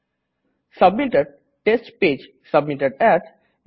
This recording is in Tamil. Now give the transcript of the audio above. submitted - test page submitted as